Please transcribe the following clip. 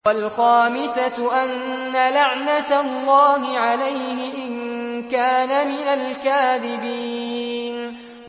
وَالْخَامِسَةُ أَنَّ لَعْنَتَ اللَّهِ عَلَيْهِ إِن كَانَ مِنَ الْكَاذِبِينَ